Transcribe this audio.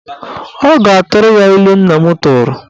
Ọ ga-atụrụ ya ilu nna m tụrụ.